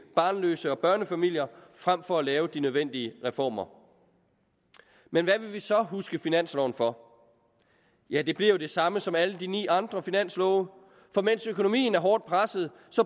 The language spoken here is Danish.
barnløse og børnefamilier frem for at lave de nødvendige reformer men hvad vil vi så huske finansloven for ja det bliver jo det samme som alle de ni andre finanslove for mens økonomien er hårdt presset